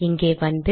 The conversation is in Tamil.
இங்கே வந்து